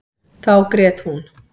Þá grét hún.